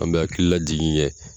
An bɛ hakili lajigin kɛ.